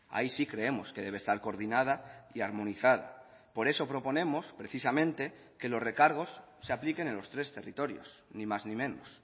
ahí sí creemos que debe estar coordinada y armonizada por eso proponemos precisamente que los recargos se apliquen en los tres territorios ni más ni menos